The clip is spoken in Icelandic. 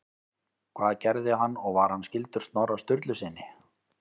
Hvað gerði hann og var hann skyldur Snorra Sturlusyni?